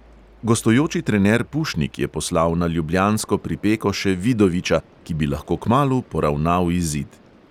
Gostujoči trener pušnik je poslal na ljubljansko pripeko še vidoviča, ki bi lahko kmalu poravnal izid.